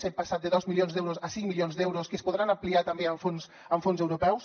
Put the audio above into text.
hem passat de dos milions d’euros a cinc milions d’euros que es podran ampliar també amb fons europeus